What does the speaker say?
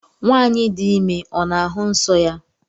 nwanyi di ime ọ n'ahụ nsọ ya?